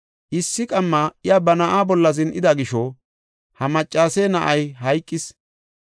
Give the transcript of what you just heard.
“Issi qamma iya bana na7aa bolla zin7ida gisho, ha maccase na7ay hayqis.